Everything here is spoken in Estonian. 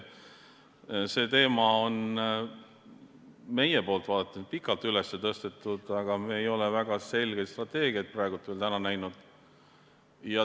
See teema on meie poolt vaadatuna pikalt üles tõstetud, aga me ei ole väga selget strateegiat praegu veel näinud.